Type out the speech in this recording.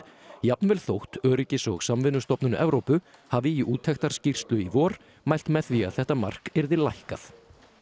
jafnvel þótt Öryggis og samvinnustofnun Evrópu hafi í úttektarskýrslu í vor mælt með því að þetta mark yrði lækkað